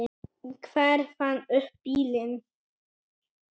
Hver fann upp bílinn?